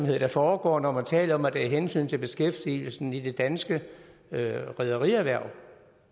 der foregår når man taler om at det er af hensyn til beskæftigelsen i det danske rederierhverv